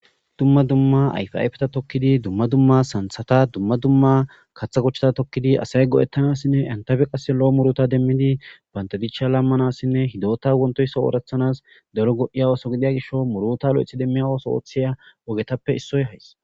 Dumma dumma ayfiayfeta tokkidi dumma dumma santhata dumma dumma katha kochchata tokkidi asay go7ettanassinne entafe qasse lo7o murota demmidi bandadicha lammanassinne hidota wontoyso oorethanas dero go7iya ooso gidiya gisho murota lo7ethi demmiya ooso oothiya ogetappe issoy hays.